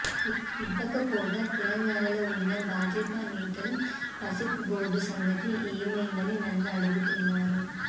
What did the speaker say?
ఇవ్వకపోగా తెలంగాణలో ఉన్న భాజపా నేతలు పసుపు బోర్డు సంగతి ఏమైందని నన్ను అడుగుతున్నారు